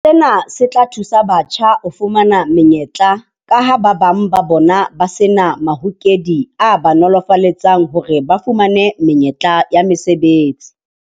Sena se tla thusa batjha ho fumana menyetla kaha ba bang ba bona ba se na mahokedi a ba nolofaletsang hore ba fumane menyetla ya mesebetsi.